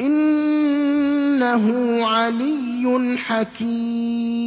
إِنَّهُ عَلِيٌّ حَكِيمٌ